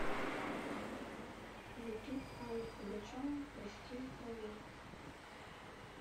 ютуб алла пугачева прости поверь